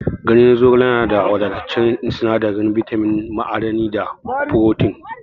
Ganyen zogale na da wadataccen sinadarin bitamin, ma'adanai, da furotin.